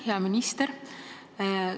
Hea minister!